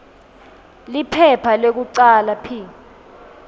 liphepha lekucala p